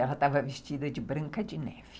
Ela estava vestida de branca de neve.